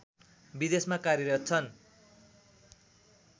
विदेशमा कार्यरत छन्